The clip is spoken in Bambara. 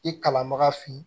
I kalanbaga fin